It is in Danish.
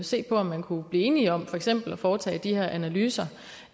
se på om man kunne blive enig om for eksempel at foretage de her analyser